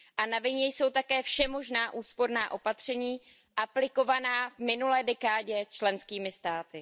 Na vině jsou také všemožná úsporná opatření aplikovaná v minulé dekádě členskými státy.